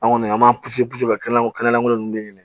An kɔni an b'an ka kɛnɛlankolon kɛnɛlankolon ninnu de ɲini